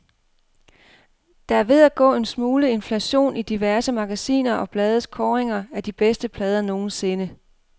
Der er ved at gå en smule inflation i diverse magasiner og blades kåringer af de bedste plader nogensinde.